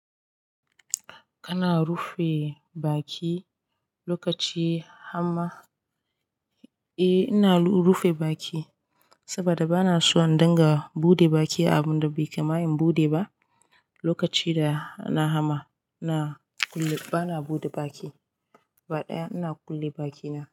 Ana rufe baki, lokaci hama? Eh, ina rufe baki, saboda bana son in danga, buɗe baki a abun da bai kama in buɗe ba. Lokaci da na hama, ana kulle, bana buɗe baki. Ba ɗaya, ina kulle bakina.